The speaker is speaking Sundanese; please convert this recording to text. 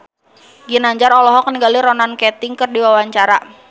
Ginanjar olohok ningali Ronan Keating keur diwawancara